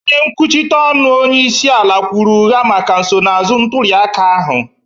onye nkwuchite ọnụ onyeisiala kwuru ụgha maka nsonaazụ ntuliaka ahụ.